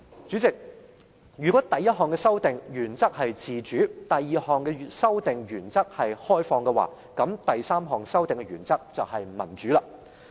主席，如果第一項修訂的原則是自主，第二項修訂的原則是開放，那第三項修訂的原則就是民主。